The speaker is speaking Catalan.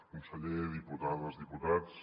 conseller diputades diputats